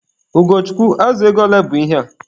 Ugochukwu, azụ ego ole bụ ihe a?